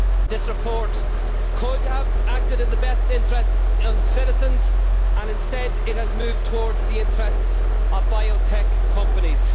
This report could have acted in the best interests of citizens and instead it has moved towards the interests of biotech companies.